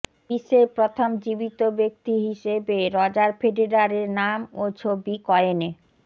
বিশ্বের প্রথম জীবিত ব্যক্তি হিসেবে রজার ফেডেরারে নাম ও ছবি কয়েনে